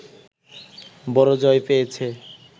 বড় জয় পেয়েছে